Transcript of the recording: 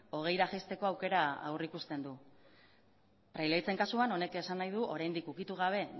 hogeira jaisteko aukera aurrikusten du praileaitzen kasuan honek esan nahi du oraindik ukitu gabe